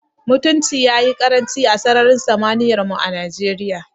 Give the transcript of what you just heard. Mutunci ya yi ƙaranci a sararin samaniyar mu a Najeriya.